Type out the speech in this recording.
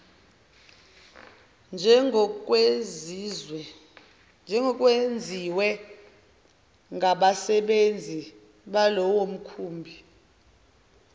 njengokwenziwe ngabasebenzi balowomkhumbi